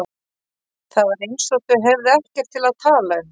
Það var eins og þau hefðu ekkert til að tala um.